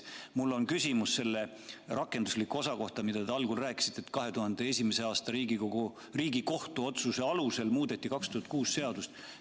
Mul on küsimus selle rakendusliku osa kohta, millest te algul rääkisite, et 2001. aasta Riigikohtu otsuse alusel muudeti 2006. aastal seadust.